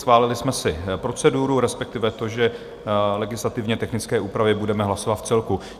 Schválili jsme si proceduru, respektive to, že legislativně technické úpravy budeme hlasovat vcelku.